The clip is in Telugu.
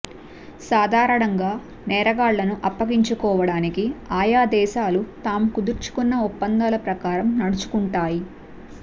సాధారణంగా నేరగాళ్లను అప్పగించుకోవడానికి ఆయా దేశాలు తాము కుదుర్చుకున్న ఒప్పందాల ప్రకారం నడుచుకుంటాయి